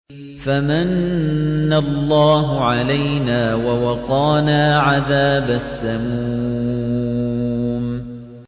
فَمَنَّ اللَّهُ عَلَيْنَا وَوَقَانَا عَذَابَ السَّمُومِ